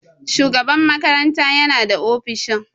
Shugaban makaranta yana da ofishin.